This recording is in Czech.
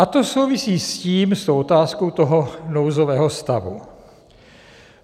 A to souvisí s tím, s tou otázkou toho nouzového stavu.